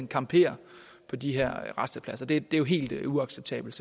camperer på de her rastepladser det er jo helt uacceptabelt